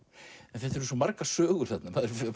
en þetta eru svo margar sögur þarna